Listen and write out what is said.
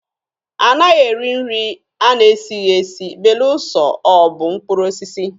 A naghị eri nri a na-esighi esi belụsọ ọ bụ mkpụrụ osisi.